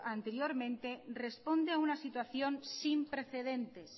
anteriormente responde a una situación sin precedentes